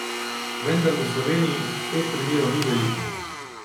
Vendar v Sloveniji teh primerov ni veliko.